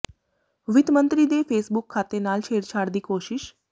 ਵਿੱਤ ਮੰਤਰੀ ਦੇ ਫੇਸਬੁੱਕ ਖ਼ਾਤੇ ਨਾਲ ਛੇੜਛਾੜ ਦੀ ਕੋਸ਼ਿਸ਼